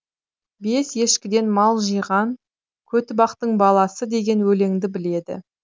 бес ешкіден мал жиғанкөтібақтың баласы деген өлеңді біледі